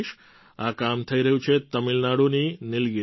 આ કામ થઈ રહ્યું છે તમિલનાડુની નીલગીરીમાં